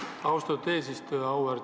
Aitäh, austatud eesistuja!